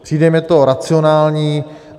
Přijde mi to racionální.